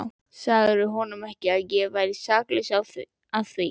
Sagðirðu honum ekki, að ég væri saklaus að því?